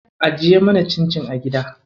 Ajiye mana cincin a gida.